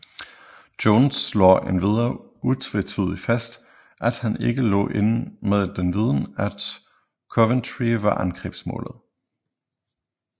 Jones slår endvidere utvetydigt fast at han ikke lå inde med den viden at Coventry var angrebsmålet